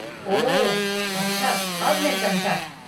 ओह, अच्छा अब मैं समझा।